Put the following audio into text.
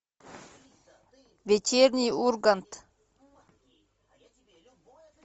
вечерний ургант